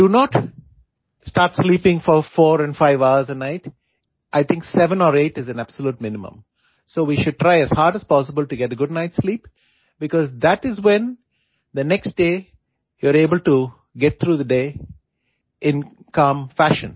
do not start sleeping four four and five hours a night I think seven or eight is a absolute minimum so we should try as hard as possible to get good night sleep because that is when the next day you are able to get through the day in calm fashion